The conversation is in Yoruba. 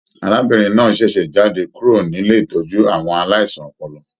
Arábìnrin náà ṣẹṣẹ jáde kúrò nílé ìtọjú àwọn aláìsàn ọpọlọ.